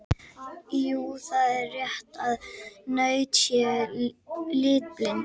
Jú, það er rétt að naut séu litblind.